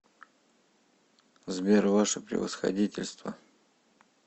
сбер ваше превосходительство